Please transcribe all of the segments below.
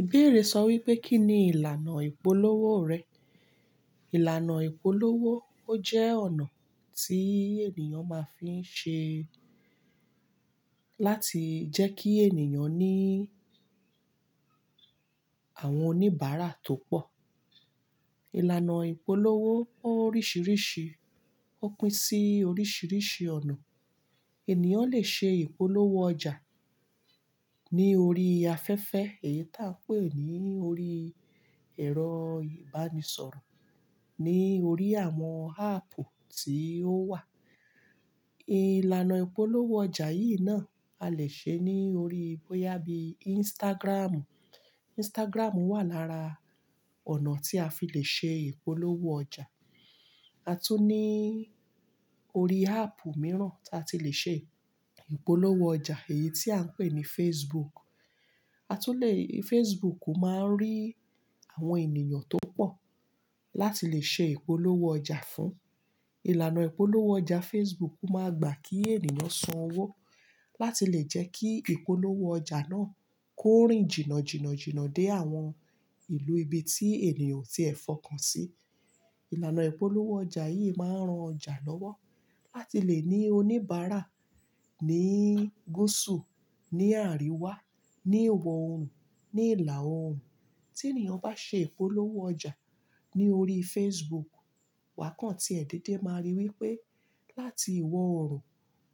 Ìbéèrè sọ wípé kí ni ìlànà ìpolówó rẹ? Ìlànà ìpolówó, ó jẹ́ ọ̀nà tí ènìyàn máa ń fi ṣe láti jẹ́ kí ènìyàn ní àwọn oníbàárà tó pọ̀. Ìlànà ìpolówó oríṣìíríṣìí, ó pín sí oríṣìíríṣìí ọ̀nà. Ènìyàn lè ṣe ìpolówó ọjà ní orí afẹ́fẹ́ èyí t'a n pe ní orí ẹ̀rọ ìbánisọ̀rọ̀, ní orí àwọn áàpù tí ó wà. Ìlànà ìpolówó ọjà yìí náà a lè ṣe ní orí bóyá bíi Instagram. Instagram wà lára ọ̀nà tí a fi lè ṣe ìpolówó ọjà. A tún ní orí áàpù míràn tí a ti lè ṣe ìpolówó ọjà èyí tí à ń pè ní Facebook. A tún le, Facebook máa ń rí àwọn ènìyàn tó pọ̀ láti lè ṣe ìpolówó ọjà fún. Ìlànà ìpolówó ọjà Facebook máa gbà kí ènìyàn san owó láti lè jẹ́ kí ìpolówó ọjà náà kórìn jìnà jìnà jìnà dé àwọn ìlú ibi tí ènìyàn o ti ẹ fọkàn sí. Ìlànà ìpolówó ọjà yìí máa ń ran ọjà lọ́wọ́ láti lè ní oníbàárà ní gúsù, ní àríwá, ní ìwọ̀ oòrùn, ní ìlà oòrùn. Tí ènìyàn bá ṣe ìpolówó ọjà ní orí Facebook, wa kàń ti ẹ̀ dédé máa rí wípé láti ìwọ̀ oòrùn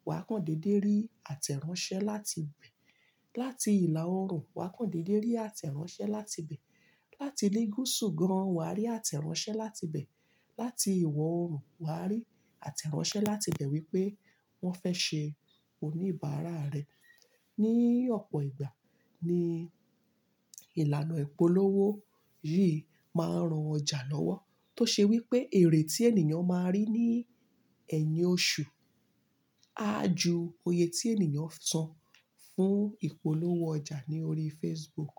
wa kàń dédé rí àtẹ̀ráńṣẹ́ láti ibẹ̀. Láti ìlà oòrùn wakàńtí dédé rí àtẹ̀ráńṣẹ́ láti ibẹ̀. Láti ilé gúsù gan wa rí àtẹ̀ráńṣẹ́ láti ibẹ̀. Láti ìwọ̀ oòrùn wakàńtí rí àtẹ̀ráńṣẹ́ láti ibẹ̀ wípé wọ́n fẹ́ ṣe oníbàárà rẹ. Ni ọ̀pọ̀ ìgbà ni ìlànà ìpolówó yìí máa ń ran ọjà lọ́wọ́ tó ṣe wípé èrè tí ènìyàn máa rí ní ẹ̀yin oṣù, á ju iyè tí ènìyàn san fún ìpolówó ọjà ní orí Facebook.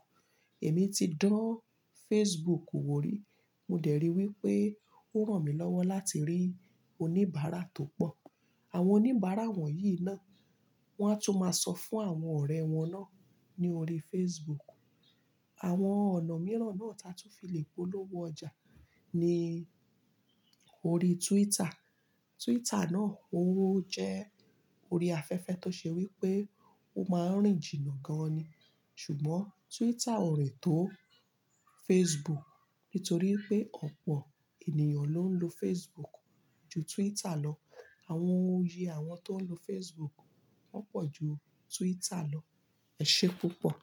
Èmi ti dán Facebook wò rí, mo dẹ̀ rí wípé ó ran mi lọ́wọ́ láti rí oníbàárà tó pọ̀. Àwọn oníbàárà wọ̀nyí náà wọ́n á tún máa sọ fún àwọn ọ̀rẹ́ wọn náà ní orí Facebook. Àwọn ọ̀nà míràn náà t'a tún fi lè polówó ọjà ni orí Twitter. Twitter náà ó jẹ́ orí afẹ́fẹ́ tó ṣe wípé ó máa ń rìn jìnà gan-an ni. Ṣùgbọ́n Twitter ò rìn tó Facebook nítorí pé ọ̀pọ̀ ènìyàn ló ń lo Facebook ju Twitter lọ. Àwọn iye àwọn tó ń lo Facebook wọ́n pọ̀ ju Twitter lọ. Ẹ̀ ṣe púpọ̀